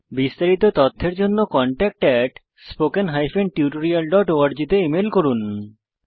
বিস্তারিত তথ্যের জন্য contactspoken tutorialorg তে ইমেল করুন